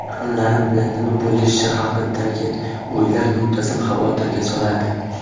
Yaqinlarim bilan nima bo‘lishi haqidagi o‘ylar muntazam xavotirga solardi.